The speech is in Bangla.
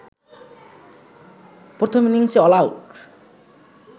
প্রথম ইনিংসে অলআউট